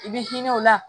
I bɛ hinɛ o la